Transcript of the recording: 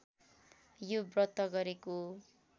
यो व्रत गरेको